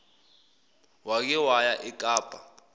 wake waya ekapa